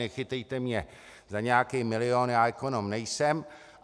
Nechytejte mě za nějaký milion, já ekonom nejsem.